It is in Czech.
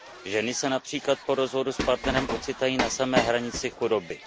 Ženy se například po rozvodu s partnerem ocitají na samé hranici chudoby.